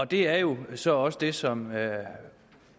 det er jo så også det som